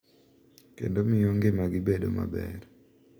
Kendo miyo ngimagi bedo maber.